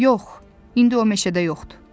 Yox, indi o meşədə yoxdur.